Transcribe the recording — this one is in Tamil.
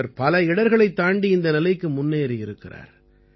இவர் பல இடர்களைத் தாண்டி இந்த நிலைக்கு முன்னேறியிருக்கிறார்